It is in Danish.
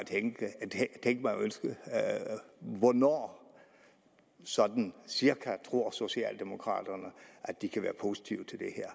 at at vide hvornår sådan cirka tror socialdemokraterne at de kan være positive